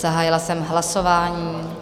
Zahájila jsem hlasování.